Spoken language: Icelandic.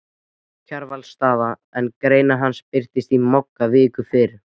Kjarvalsstaða, en grein hans birtist í Mogga viku fyrr